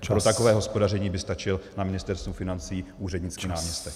Pro takové hospodaření by stačil na Ministerstvu financí úřednický náměstek.